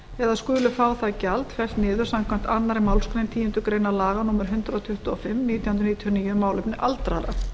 eða skuli fá það gjald fellt niður samkvæmt annarri málsgrein tíundu grein laga númer hundrað tuttugu og fimm nítján hundruð níutíu og níu um málefni aldraðra